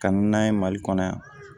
Ka na n'a ye mali kɔnɔ yan